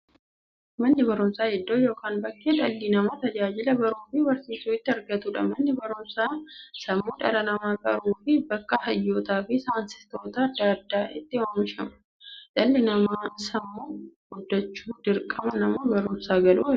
Manni barumsaa iddoo yookiin bakkee dhalli namaa tajaajila baruufi barsiisuu itti argatuudha. Manni barumsaa sammuu dhala namaa qaruufi bakka hayyootafi saayintistoota adda addaa itti oomishuudha. Dhalli namaa sammuun guddachuuf, dirqama mana barumsaa galuu qaba.